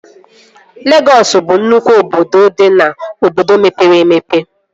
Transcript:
Legọs bụ nnụkwụ obodo dị n'obodo mepere emepe